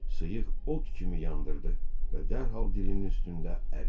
Sıyıq od kimi yandırdı və dərhal dilinin üstündə əridi.